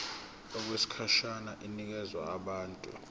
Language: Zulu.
okwesikhashana inikezwa abantu